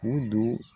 U don